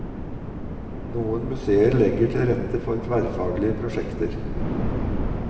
Noen museer legger til rette for tverrfaglige prosjekter.